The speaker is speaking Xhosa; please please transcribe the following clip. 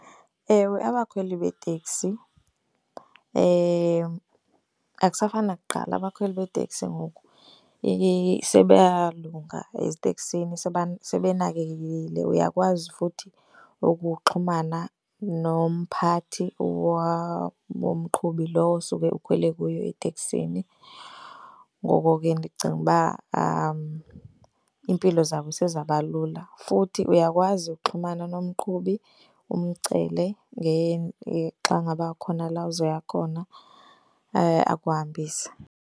Ewe, abakhweli beeteksi akusafani nakuqala, abakhweli beeteksi ngoku sebeyalunga eziteksini, sebenakekekile. Uyakwazi futhi ukuxhumana nomphathi womqhubi lowo suke ukhwele kuye eteksini. Ngoko ke ndicinga uba iimpilo zabo sezaba lula. Futhi uyakwazi ukuxhumana nomqhubi umcele xa ngaba kukhona la uzoya khona akuhambise.